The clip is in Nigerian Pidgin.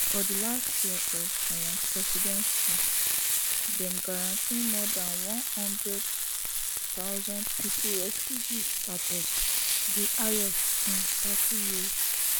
for di last year of im presidency dem grant more dan one hundred thousand pipo refugee status di highest in thirty years